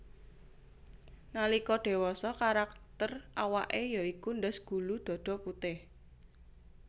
Nalika dewasa karakter awake ya iku ndas gulu dada putih